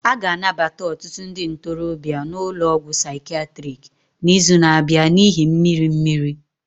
A ga-anabata ọtụtụ ndị ntorobịa n'ụlọ ọgwụ psychiatric n'izu na-abịa n'ihi mmiri mmiri